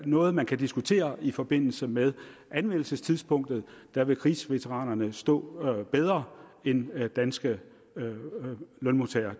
noget man kan diskutere i forbindelse med anmeldelsestidspunktet der vil krigsveteraner stå bedre end danske lønmodtagere